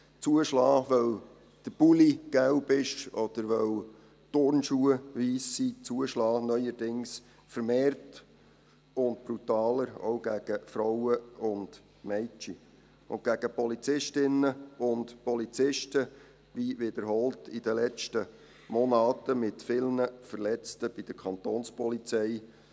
Zuschlagen, weil der Pullover gelb oder Turnschuhe weiss sind, zuschlagen, neuerdings vermehrt und brutaler, auch gegen Frauen und Mädchen und gegen Polizistinnen und Polizisten, wie wiederholt in den letzten Monaten, mit vielen Verletzten bei der Kantonspolizei.